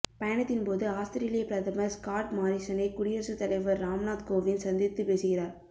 பயணத்தின்போது ஆஸ்திரேலிய பிரதமர் ஸ்காட் மாரிசனை குடியரசு தலைவர் ராம்நாத் கோவிந்த் சந்தித்து பேசுகிறார்